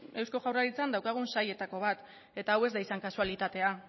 eusko jaurlaritzan daukagun sailetako bat eta hau ez da izan kasualitatea